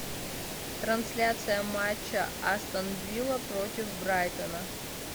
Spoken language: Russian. трансляция матча астон вилла против брайтона